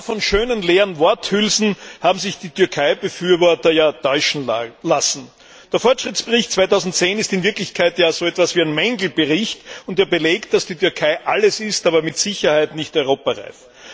Aber genau von schönen, leeren Worthülsen haben sich die Türkeibefürworter täuschen lassen. Der Fortschrittsbericht 2010 ist in Wirklichkeit so etwas wie ein Mängelbericht und er belegt, dass die Türkei alles ist, aber mit Sicherheit nicht europareif.